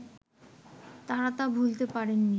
তারা তা ভুলতে পারেননি